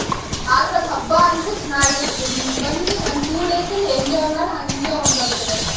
ಆದ್ರೂ ಅದ್ ಹಬ್ಬ ಅಂದ್ರೆ ಚೆನ್ನಾಗಿರ್ತದೆ ಹಿಂಗ್ ಬಂದಿ ಒಂದ್ two days ಅಲ್ಲಿ enjoy ಮಾಡ್ ಹಂಗೆ ಹೊಂಟ್ ಹೋಗ್ತದೆ.